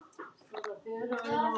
Ég stari í undrun.